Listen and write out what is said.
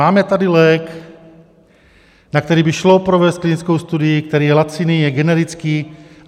Máme tady lék, na který by šlo provést klinickou studii, který je laciný, je generický.